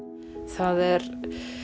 það er